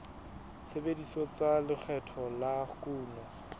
tshebetso tsa lekgetho la kuno